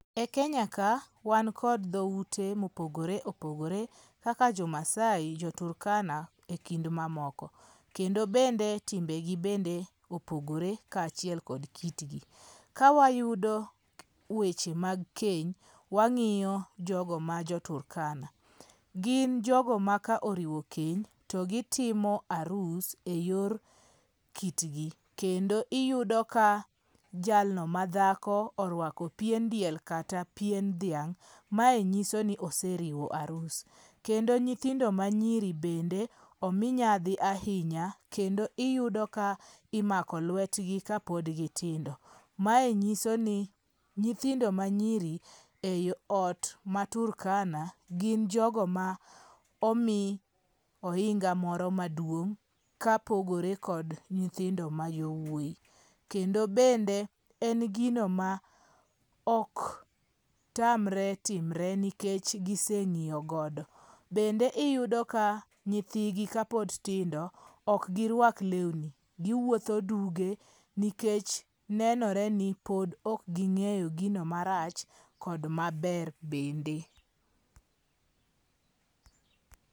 E Kenya ka wan kod dhoute mopogore opogore kaka jo Maasai, jo Turkana e kind mamoko. Kendo bende timbegi bende opogore kachiel kod kitgi. Kawayudo weche mag keny, wang'iyo jogo ma jo Turkana. Gin jogo ma ka oriwo keny to gitimo arus a yor kitgi. Kendo iyudo ka jalno ma dhako orwako pien diel kata pien dhiang'. Mae nyiso ni oseriwo arus. Kendo nyithindo manyiri bende omi nyadhi ahinya kendo iyudo ka imako lwetgi ka pod gitindo. Mae nyiso ni nyithindo ma nyiri e ot ma Turkana gin jogo ma omi ohinga morO maduong' kapogore kod nyithindo ma jowuoi. Kendo bende en gino ma ok tamre timre nikech giseng'iyogodo. Bende iyudo ka nyithigi ka pod tindo ok girwak lewni. Giwuotho duge nikech nenore ni pod ok ging'eyo gino marach kod maber bende.